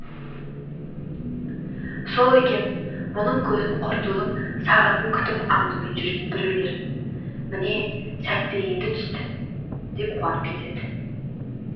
сол екен мұның көзін құртудың сағатын күтіп аңдумен жүрген біреулер міне сәті енді түсті деп қуанып кетеді